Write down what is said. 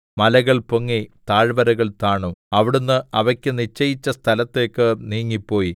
മലകൾ പൊങ്ങി താഴ്വരകൾ താണു അവിടുന്ന് അവയ്ക്കു നിശ്ചയിച്ച സ്ഥലത്തേക്ക് നീങ്ങിപ്പോയി